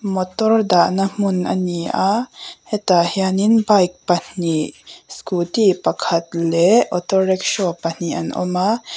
motor dah na hmun ani a hetah hianin bike pahnih scooty pakhat leh auto rickshaw pahnih an awm a.